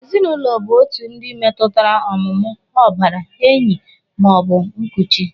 Ezinụlọ bụ otu ndị metụtara ọmụmụ, ọbara, enyi ma ọ bụ nkuchi